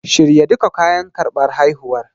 Shirya duka kayan karɓar haihuwar.